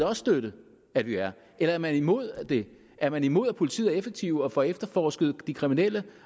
også støtte at de er eller er man imod det er man imod at politiet er effektive og får efterforsket sagerne de kriminelle